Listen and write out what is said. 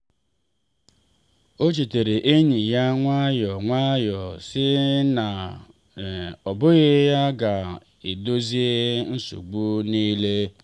ọ chetara enyi ya nwayọ nwayọ sị na ọ bụghị ya ga edozie nsogbu niile.